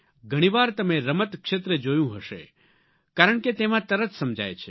ઘણી વાર તમે રમત ક્ષેત્રે જોયું હશે કારણ કે તેમાં તરત સમજાય છે